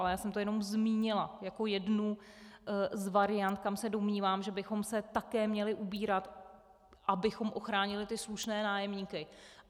Ale já jsem to jenom zmínila jako jednu z variant, kam se domnívám, že bychom se také měli ubírat, abychom ochránili ty slušné nájemníky.